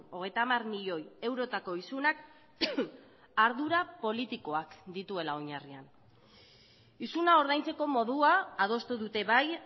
hogeita hamar milioi eurotako isunak ardura politikoak dituela oinarrian isuna ordaintzeko modua adostu dute bai